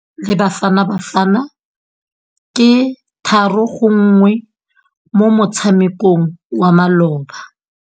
Sekôrô sa Nigeria le Bafanabafana ke 3-1 mo motshamekong wa malôba.